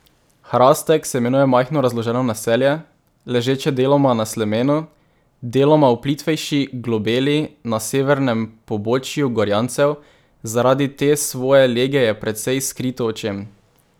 Hrastek se imenuje majhno razloženo naselje, ležeče deloma na slemenu, deloma v plitvejši globeli na severnem pobočju Gorjancev, zaradi te svoje lege je precej skrito očem.